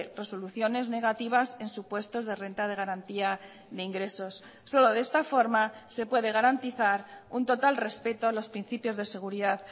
resoluciones negativas en supuestos de renta de garantía de ingresos solo de esta forma se puede garantizar un total respeto a los principios de seguridad